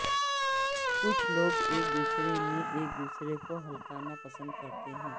کچھ لوگ ایک دوسرے میں ایک دوسرے کو ہکانا پسند کرتے ہیں